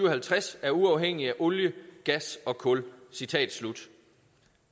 og halvtreds er uafhængigt af olie gas og kul citatet